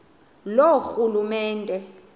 loorhulumente